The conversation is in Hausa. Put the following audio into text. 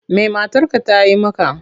Me matarka ta yi maka?